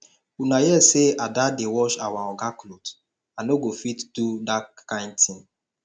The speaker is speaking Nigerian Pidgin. una hear say ada dey wash our oga cloth i no go fit do dat kin thing